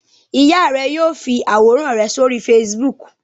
Ìyá rẹ yóò fi àwòrán rẹ sórí Facebook.